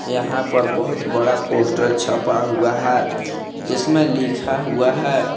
यहां पर बहोत बड़ा पोस्टर छपा हुआ है जिसमें लिखा हुआ है।